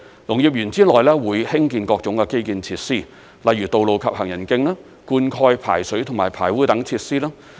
農業園之內會興建各種的基建設施，例如道路及行人徑、灌溉、排水及排污等設施。